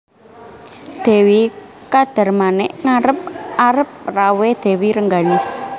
Dewi Kadarmanik ngarep arep rawuhé Dèwi Rengganis